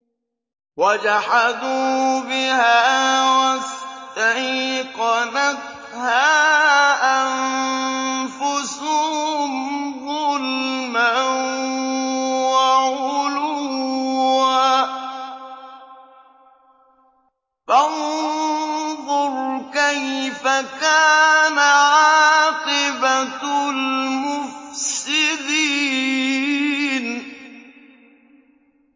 وَجَحَدُوا بِهَا وَاسْتَيْقَنَتْهَا أَنفُسُهُمْ ظُلْمًا وَعُلُوًّا ۚ فَانظُرْ كَيْفَ كَانَ عَاقِبَةُ الْمُفْسِدِينَ